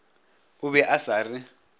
o be a sa re